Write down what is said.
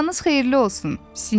Sabahınız xeyirli olsun!